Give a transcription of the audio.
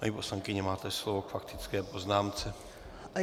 Paní poslankyně, máte slovo k faktické poznámce.